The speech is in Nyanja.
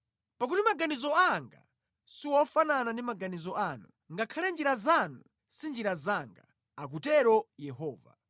“Pakuti maganizo anga siwofanana ndi maganizo anu, ngakhale njira zanu si njira zanga,” akutero Yehova.